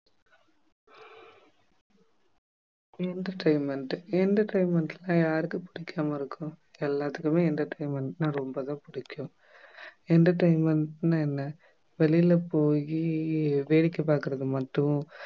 entertainment entertainment னா யாருக்கு பிடிக்காம இருக்கும் எல்லாத்துக்குமே entertainment னா ரொம்ப தான் பிடிக்கும் entertainment னா என்ன வெளில போயி வேடிக்கை பார்க்கறது மட்டும்